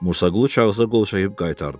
Musaqulu kağıza qol çəkib qaytardı.